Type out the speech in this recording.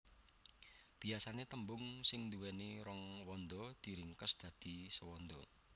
Biasané tembung sing nduwéni rong wanda diringkes dadi sewanda